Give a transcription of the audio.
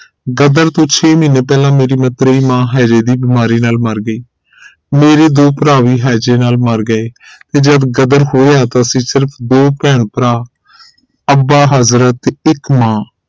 ਗ਼ਦਰ ਤੋਂ ਛੇ ਮਹੀਨੇ ਪਹਿਲਾ ਮੇਰੀ ਮਤਰੇਈ ਮਾਂ ਹੈਜੇ ਦੀ ਬੀਮਾਰੀ ਨਾਲ ਮਰ ਗਈ ਮੇਰੇ ਦੋ ਭਰਾ ਵੀ ਹੈਜੇ ਨਾਲ ਮਰ ਗਏ ਜਦ ਗ਼ਦਰ ਹੋਇਆ ਤਾਂ ਅਸੀਂ ਸਿਰਫ ਦੋ ਭੈਣ ਭਰਾ ਅੱਬਾ ਹਜ਼ਰਤ ਤੇ ਇਕ ਮਾਂ